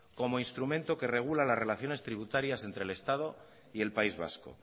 como instrumento que regula las relaciones tributarias entre el estado y el país vasco